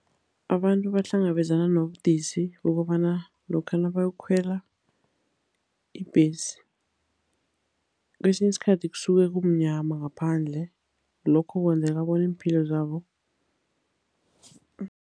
Abantu bahlangabezana nobudisi bokobana lokha nabayokukhwela ibhesi, kwesinye isikhathi kusuke kumnyama ngaphandle, lokho kwenzeka bona iimpilo zabo